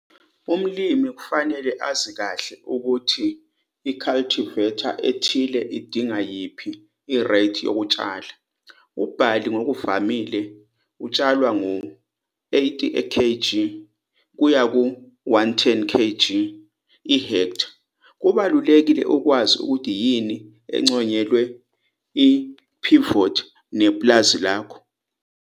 Umlimi kufanele azi kahle ukuthi i-cultivar ethile idinga yiphi ireythi yokutshala. Ubhali ngokuvamile utshalwa uwu-80 kg kuya ku-110 kg ihektha. Kubalulekile ukwazi ukuthi yini enconyelwe i-pivot nepulazi lakho.